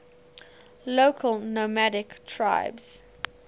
local nomadic tribes